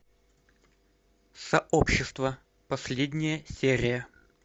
сообщество последняя серия